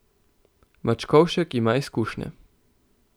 Mačkovšek ima izkušnje.